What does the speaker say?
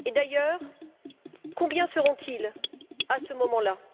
Et d'ailleurs combien seront ils à ce moment là?